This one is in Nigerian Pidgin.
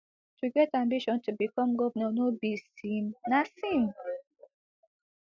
to get ambition to become govnor no be sin na sin